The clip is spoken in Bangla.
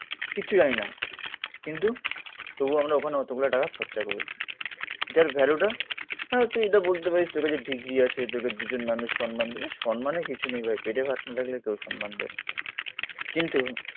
কিচ্ছু জানি না, কিন্তু তবু আমরা ওখানে অতগুলো টাকা খরচা করেছি। যার ভ্যালুটা, হ্যা হয়তো এটা বলতে পারিস তোর কাছে ডিগ্রী আছে, তোকে দুজন মানুষ সম্মান দেবে। সম্মানের কিছু নেই ভাই, পেটে ভাত না থাকলে কেও সম্মান দেবে না। কিন্তু